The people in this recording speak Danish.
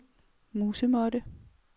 musemåtte